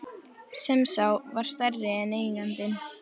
Sem þá var stærri en eigandinn.